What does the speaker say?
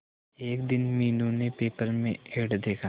एक दिन मीनू ने पेपर में एड देखा